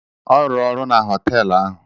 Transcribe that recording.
Ọ rụrụ ọrụ na họtelụ ahụ.